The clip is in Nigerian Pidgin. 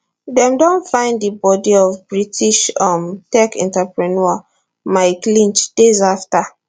dem don find di body of british um tech entrepreneur mike lynch days afta